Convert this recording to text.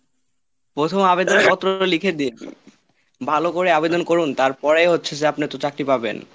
প্রথম আবেদন পত্রটা লিখে দিন, ভালো করে আবেদন করুন তারপরেই হচ্ছে যে আপনি তো চাকরি পাবেন।